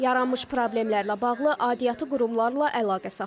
Yaranmış problemlərlə bağlı aidiyyatı qurumlarla əlaqə saxladıq.